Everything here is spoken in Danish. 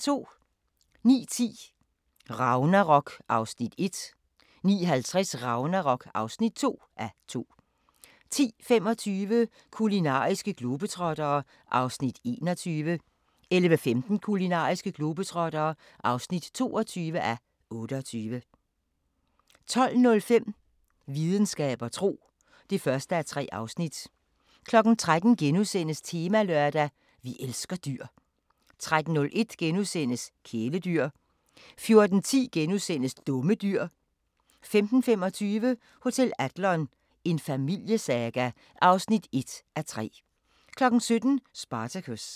09:10: Ragnarok (1:2) 09:50: Ragnarok (2:2) 10:25: Kulinariske globetrottere (21:28) 11:15: Kulinariske globetrottere (22:28) 12:05: Videnskab og tro (1:3) 13:00: Temalørdag: Vi elsker dyr * 13:01: Kæledyr * 14:10: Dumme dyr * 15:25: Hotel Adlon – en familiesaga (1:3) 17:00: Spartacus